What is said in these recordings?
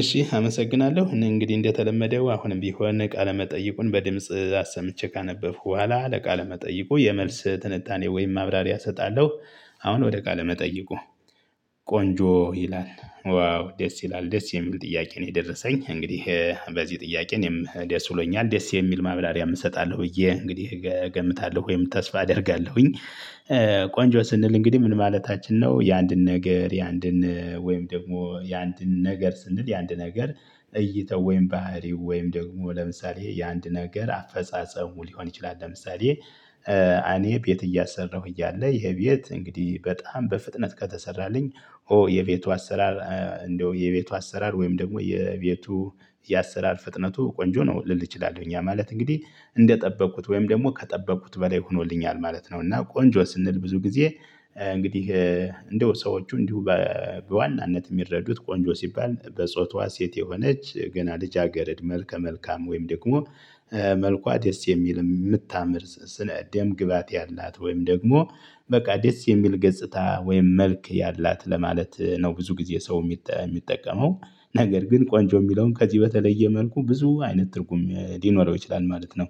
እሺ አመሰግናለሁ እኔ እንግዲህ እንደተለመደው አሁንም ቢሆን ቃለ መጠይቁን በድምጽ አሰምቼ ካነበብኩ በኋላ ለቃለ መጠይቁ የመልስ ትንታኔ ወይም ማብራሪያ እሰጣለሁ። አሁን ወደ ቃለ መጠይቁ። ቆንጆ ይላል ዋው ደስ ይላል ደስ የሚል ጥያቄ ነው የደረሰኝ እንግዲህ በዚህ ጥያቄ እኔም ደስ ይሎኛል ደስ የሚል ማብራርያም እሰጣለሁ ብዬ እንግዲህ እገምታለሁ ወይም ተስፋ አደርጋለሁኝ። ቆንጆ ስንል እንግዲህ ምን ማለታችን ነው? የአንድን ነገር የአንድን ወይም ደግሞ የአንድን ነገር ስንል የአንድ ነገር እይታው ወይም ባህሪው ወይም ደግሞ ለምሳሌ የአንድ ነገር አፈጻጸሙ ሊሆን ይችላል። ለምሳሌ እኔ ቤት እያሰራሁ እያለ ይሄ ቤት እንግዲህ በጣም በፍጥነት ከተሰራልኝ ኦ የቤቱ አሰራር እንደው የቤቱ አሰራር ወይም ደግሞ የቤቱ የአሰራር ፍጥነቱ ቆንጆ ነው ልል እችላለሁ። ያ ማለት እንግዲህ እንደጠበቅኩት ወይም ደግሞ ከጠበቅኩት በላይ ሆኖልኛል ማለት ነው። እና ቆንጆ ስንል ብዙ ጊዜ። እንግዲህ እንደው ሰዎቹ እንዲሁ በዋናነት የሚረዱት ቆንጆ ሲባል በጾቷ ሴት የሆነች ገና ልጅ አገርድ መልከ መልካም ወይም ደግሞ መልኳ ደስ የሚል የምታምር ደም ግባት ያላት ወይም ደግሞ በቃ ደስ የሚል ገጽታ ወይም መልክ ያላት ለማለት ነው። ብዙ ጊዜ ሰው የሚጠቀመው ነገር ግን ቆንጆ የሚለውን ከዚህ በተለየ መልኩ ብዙ አይነት ትርጉም ሊኖረው ይችላል ማለት ነው።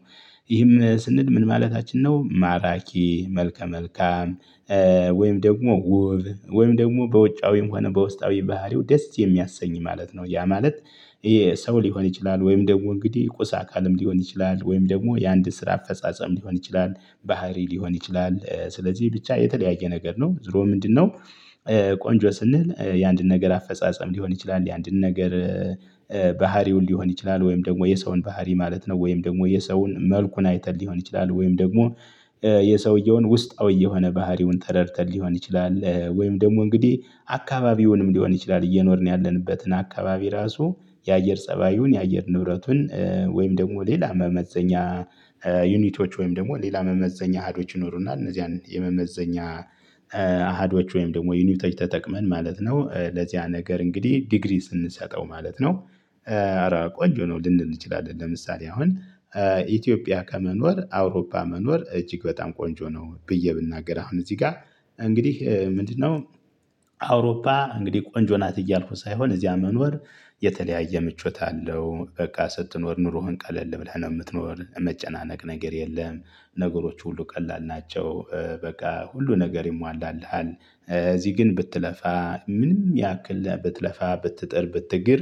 ይህም ስንል ምን ማለታችን ነው? ማራኪ መልከ መልካም ወይም ደግሞ ውብ ወይም ደግሞ በውጫዊም ሆነ በውስጣዊ ባህሪው ደስ የሚያሰኝ ማለት ነው። ያ ማለት ይሄ ሰው ሊሆን ይችላል ወይም ደግሞ እንግዲህ ቁስ አካልም ሊሆን ይችላል ወይም ደግሞ የአንድን ስራ አፈጻጸም ሊሆን ይችላል ባህሪ ሊሆን ይችላል ስለዚህ ብቻ የተለያየ ነገር ነው። ዝሮ ምንድነው? ቆንጆ ስንል የአንድን ነገር አፈጻጸም ሊሆን ይችላል ያንድን ነገር ባህሪውን ሊሆን ይችላል ወይም ደግሞ የሰውን ባህሪ ማለት ነው። ወይም ደግሞ የሰውን መልኩን አይተን ሊሆን ይችላል ወይም ደግሞ የሰውየውን ውስጣዊ የሆነ ባህሪውን ተረድተን ሊሆን ይችላል ወይም ደግሞ እንግዲህ አካባቢውንም ሊሆን ይችላል እየኖርን ያለንበትን አካባቢ ራሱ የአየር ፀባዩን የአየር ንብረቱን ወይም ደግሞ ሌላ መመዘኛ። ዩኒቶች ወይም ደግሞ ሌላ መመዘኛ አሃዶች ይኖሩና እነዚህ የመመዘኛ አሃዶች ወይም ደግሞ ዩኒቶ ተጠቅመን ማለት ነው። ለዚያ ነገር እንግዲህ ዲግሪ ስንሰጠው ማለት ነው። ኧረ ቆንጆ ነው ልንል እንችላለን። ለምሳሌ አሁን ኢትዮጵያ ከመኖር አውሮፓ መኖር እጅግ በጣም ቆንጆ ነው። ብዬ ብናገር አሁን እዚህ ጋር እንግዲህ ምንድነው? አውሮፓ እንግዲህ ቆንጆ ናት እያልኩ ሳይሆን እዚያ መኖር የተለያየ ምቾት አለው በቃ ስትኖር ኑሮህን ቀለል ብለህ ነው የምትኖር መጨናነቅ ነገር የለም። ነገሮች ሁሉ ቀላል ናቸው። በቃ ሁሉ ነገር ይሟላልሃል እዚህ ግን ብትለፋ ምንም ያክል ብትለፋ ብትጥር ብትግር።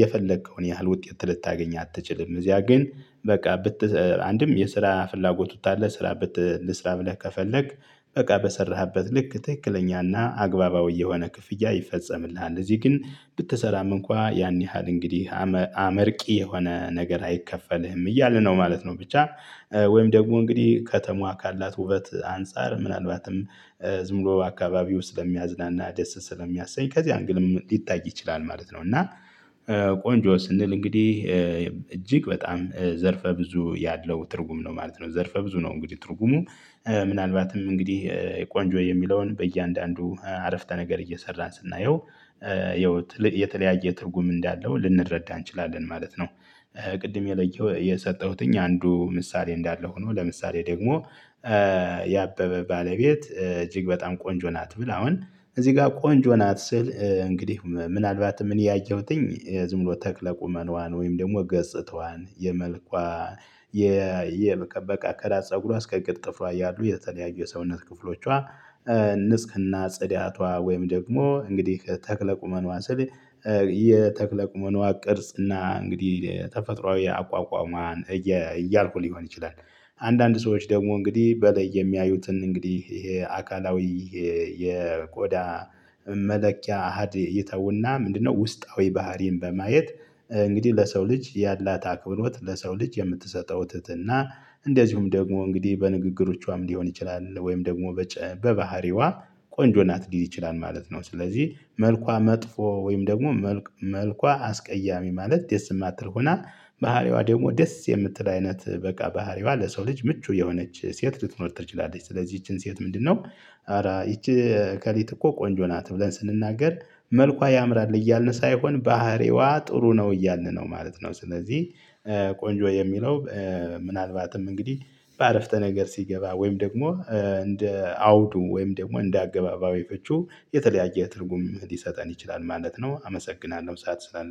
የፈለከውን ያህል ውጤት ልታገኝ አትችልም። እዚያ ግን በቃ ብት አንድም የስራ ፍላጎቱ አለ ስራ ብት ልስራ ብለህ ከፈለክ በቃ በሰራህበት ልክ ትክክለኛና አግባባዊ የሆነ ክፍያ ይፈጸምልሃል። እዚህ ግን ብትሰራም እንኳን ያን ያህል እንግዲህ አመርቂ የሆነ ነገር አይከፈልህም እያለ ነው ማለት ነው። ብቻ ወይም ደግሞ እንግዲህ ከተማዋ ካላት ውበት አንፃር ምናልባትም ዝም ብሎ አካባቢው ስለሚያዝናና ደስ ስለሚያሰኝ ከዚህ አንግልም ሊታይ ይችላል ማለት ነው። እና ቆንጆ ስንል እንግዲህ እጅግ በጣም ዘርፈ ብዙ ያለው ትርጉም ነው ማለት ነው። ዘርፈ ብዙ ነው እንግዲህ ትርጉሙ ምናልባትም እንግዲህ ቆንጆ የሚለውን በእያንዳንዱ አረፍተ ነገር እየሰራን ስናየው የተለያየ ትርጉም እንዳለው ልንረዳ እንችላለን ማለት ነው። ቅድም የለየው የሰጠሁትኝ አንዱ ምሳሌ እንዳለ ሆኖ ለምሳሌ ደግሞ ያበበ ባለቤት እጅግ በጣም ቆንጆ ናት። ብል አሁን እዚህ ጋር ቆንጆ ናት ስል እንግዲህ ምናልባት እኔ ያየሁትኝ ዝም ብሎ ተክለ ቁመናዋን ወይም ደግሞ ገጽታዋን የመልኳ በቃ ከራስ ፀጉሯ እስከ እግር ጥፍሯ ያሉ የተለያዩ የሰውነት ክፍሎቿ ንጽህና ጽዳቷ ወይም ደግሞ እንግዲህ ተክለ ቁመኗ ስል የተክለ ቁመኗ ቅርጽ እና እንግዲህ ተፈጥሮአዊ አቋቋሟን እያልኩ ሊሆን ይችላል። አንዳንድ ሰዎች ደግሞ እንግዲህ በለይ የሚያዩትን እንግዲህ ይሄ አካላዊ የቆዳ መለኪያ አሃድ እይተውና ምንድነው ውስጣዊ ባህሪን በማየት እንግዲህ ለሰው ልጅ ያላት አክብሮት ለሰው ልጅ የምትሰጠው ትህትና እንደዚሁም ደግሞ እንግዲህ በንግግሮቿም ሊሆን ይችላል ወይም ደግሞ በባህሪዋ ቆንጆ ናት ሊል ይችላል ማለት ነው። ስለዚህ መልኳ መጥፎ ወይም ደግሞ መልኳ አስቀያሚ ማለት ደስ የማትል ሆና ባህሪዋ ደግሞ ደስ የምትል አይነት በቃ ባህሪዋ ለሰው ልጅ ምቹ የሆነች ሴት ልትኖር ትችላለች። ስለዚህ ይቺን ሴት ምንድነው? ኧረ ይቺ እከሊት እኮ ቆንጆ ናት ብለን ስንናገር መልኳ ያምራል እያልን ሳይሆን ባህሪዋ ጥሩ ነው እያልን ነው ማለት ነው። ስለዚህ ቆንጆ የሚለው ምናልባትም እንግዲህ በአረፍተ ነገር ሲገባ ወይም ደግሞ እንደ አውዱ ወይም ደግሞ እንደ አገባባዊ ፍቹ የተለያየ ትርጉም ሊሰጠን ይችላል ማለት ነው። አመሰግናለሁ ሰዓት ስላለ